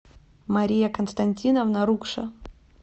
мария константиновна рукша